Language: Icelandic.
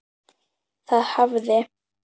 Það hafði